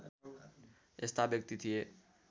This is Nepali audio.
यस्ता व्यक्ति थिए